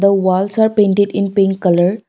the walls are painted in pink colour.